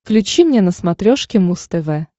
включи мне на смотрешке муз тв